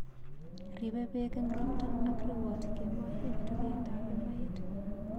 Riibei peek eng' ropta ak rewoot kemoi eng' tugeetap emait